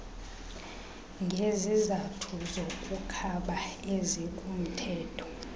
ngezizathu zokukhaba ezikumthetho